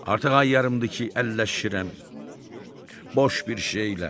Artıq ay yarımdır ki, əlləşirəm boş bir şeylə.